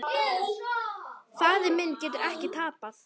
Faðir minn getur ekki tapað.